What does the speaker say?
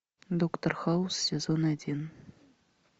доктор хаус сезон один